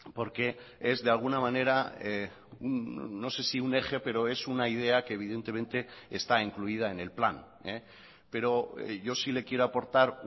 porque es de alguna manera no sé si un eje pero es una idea que evidentemente está incluida en el plan pero yo sí le quiero aportar